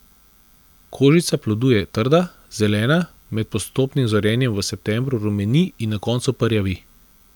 Kožica plodu je trda, zelena, med postopnim zorenjem v septembru rumeni in na koncu porjavi.